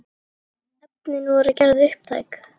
Efnin voru gerð upptæk.